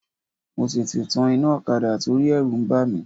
Mo tètè tan iná ọ̀kadà torí ẹ̀rù ń bà mí.